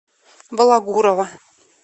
балагурова